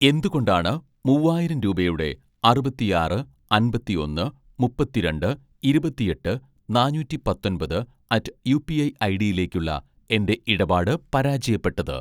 എന്തുകൊണ്ടാണ് മൂവായിരം രൂപയുടെ അറുപത്തിആറ് അമ്പത്തിഒന്ന് മുപ്പത്തിരണ്ട് ഇരുപത്തിഎട്ട് നാനൂറ്റി പത്തൊന്‍പത് അറ്റ്‌ യുപിഐ ഐഡിയിലേക്കുള്ള എൻ്റെ ഇടപാട് പരാജയപ്പെട്ടത്